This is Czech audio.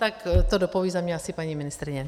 Tak to dopoví za mě asi paní ministryně.